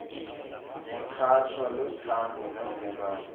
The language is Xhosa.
nekhatshwa luthando novelwano